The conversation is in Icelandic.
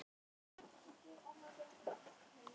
Tobbi, slökktu á niðurteljaranum.